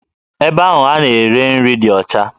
Ebe ahụ a na-ere nri dị ọcha